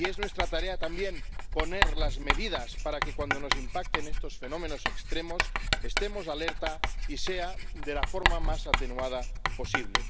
Y es nuestra tarea también tomar medidas para que, cuando nos impacten estos fenómenos extremos, estemos alerta y sea de la forma más atenuada posible.